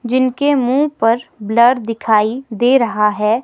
जिनके मुंह पर ब्लर दिखाई दे रहा है।